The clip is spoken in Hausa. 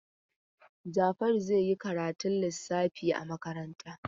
Jafaru zai yi karatun lissafi a makaranta.